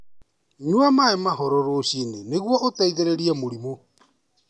Nyua maĩ mahoro rũcinĩ nĩguo ũteithĩrĩrie mũrimũ.